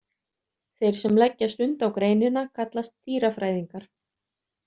Þeir sem leggja stund á greinina kallast dýrafræðingar.